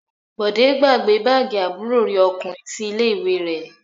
Bọ̀dé gbàgbé báágì àbúrò rẹ̀ ọkùnrin sí ilé-ìwé rẹ̀?